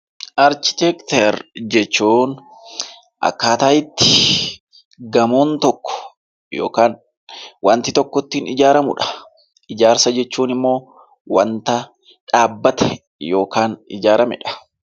Arkiteekchar jechuun akkaataa itti gamoon tokko yookaan waanti tokko ittiin ijaaramudha. Ijaarsa jechuun immoo bakka waanta dhaabbate yookaan immoo ijaaramedha.